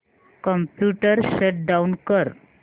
computer shut down कर